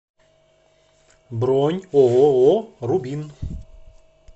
бронь ооо рубин